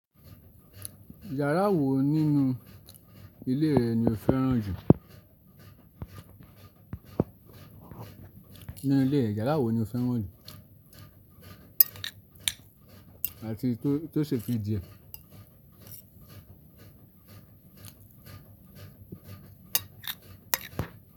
Yàrá wo nínú ilé rẹ ni o fẹ́ràn jù? Nínú ilé rẹ, yàrá wo ni o fẹ́ràn jù àti tó ṣe fi díẹ̀?